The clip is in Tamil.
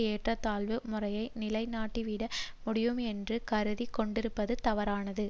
ஏற்றத்தாழ்வு முறையை நிலை நாட்டிவிட முடியும் என்றும் கருதி கொண்டிருப்பது தவறானது